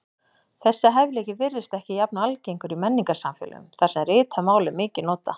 Þessi hæfileiki virðist ekki jafn algengur í menningarsamfélögum þar sem ritað mál er mikið notað.